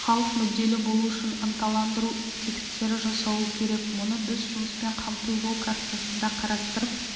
халық мүдделі болу үшін ынталандыру тетіктері жасалуы керек мұны біз жұмыспен қамту жол картасында қарастырып